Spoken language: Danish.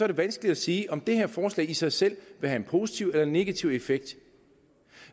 det vanskeligt at sige om det her forslag i sig selv vil have en positiv eller negativ effekt